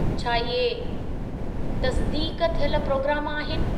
छा इहे तसिदीक़ थियल प्रोग्राम आहिनि?